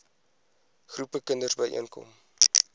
groepe kinders byeenkom